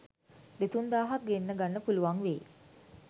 දෙතුන් දාහක් ගෙන්න ගන්න පුළුවන් වෙයි